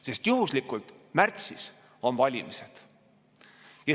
Sest juhuslikult märtsis on valimised.